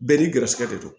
Bɛɛ n'i garisɛgɛ de don